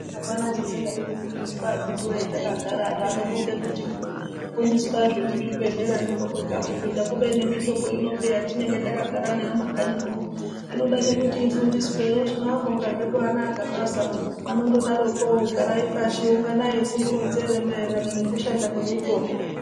Apana chisingadi kufundiswa akiti woyee takagara antu anofunga kuti kufundiswa zvemuchibhedhlera ndiko kwega kufunda kubeni nemitombo kubeni peya yatinenge takagara nayo mumakanyi muno inoda nokuti ifundiswe, hino tinowabonga zvee hino ana gabaza anondodaroo poo garai pashi timuronzere maererano nekushanda kwemitombo.